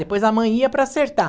Depois a mãe ia para acertar.